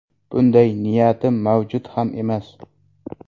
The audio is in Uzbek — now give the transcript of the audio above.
Bunday niyatim mavjud ham emas.